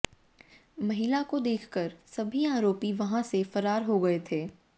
महिला को देखकर सभी आरोपी वहां से फरार हो गए थे